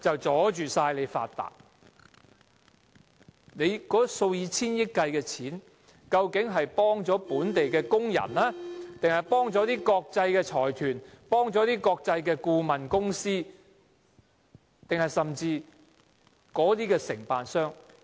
政府數以千億元計的金錢，究竟是協助本地工人，還是國際財團、國際顧問公司、承辦商？